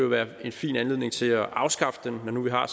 være en fin anledning til at afskaffe den når nu vi har